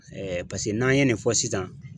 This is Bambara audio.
paseke n'an ye nin fɔ sisan